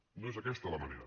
no és aquesta la manera